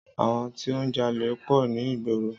Àwọn tí ó ń jalè pọ̀ ní ìgboro.